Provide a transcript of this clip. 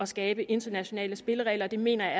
skabe internationale spilleregler og det mener